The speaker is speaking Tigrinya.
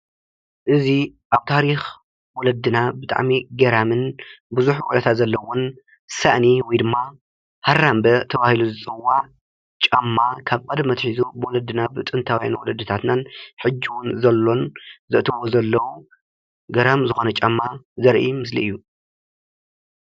እዚ ኣብ ታሪኽ ወለድና ብጣዕሚ ገራምን ቡዙሕ ውዕታት ዘለዎን ሳእኒ ወይ ድማ ሃራምበ ተባሂሉ ዝፅዋዕ ጫማ ካብ ቀደም ኣትሒዙ ብወለድና ብጥንታዉያን ወለድናን ሕጂ እዉን ዘሎን ዘእትዉዎ ዘለዉን ገራሚ ዝኾነ ጫማ ዘርኢ ምስሊ እዩ፡፡